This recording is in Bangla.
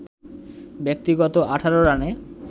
ব্যক্তিগত ১৮ রানে